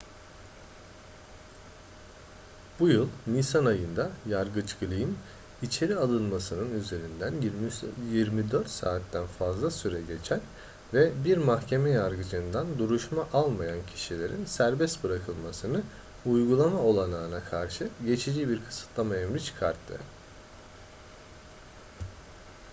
bu yıl nisan ayında yargıç glynn içeri alınmasının üzerinden 24 saatten fazla süre geçen ve bir mahkeme yargıcından duruşma almayan kişilerin serbest bırakılmasını uygulama olanağına karşı geçici bir kısıtlama emri çıkarttı